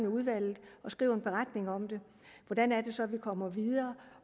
udvalget og skriver en beretning om hvordan det så er vi kommer videre